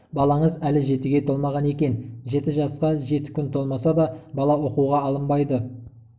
балаңыз әлі жетіге толмаған екен жеті жасқа жеті күн толмаса да бала оқуға алынбайды